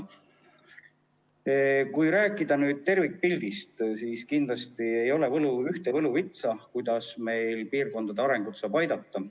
Kui nüüd rääkida tervikpildist, siis kindlasti ei ole ühte võluvitsa, millega saaks piirkondade arengule kaasa aidata.